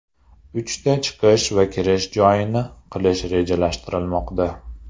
Uchta chiqish va kirish joyini qilish rejalashtirilmoqda.